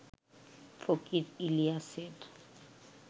ফকির ইলিয়াসের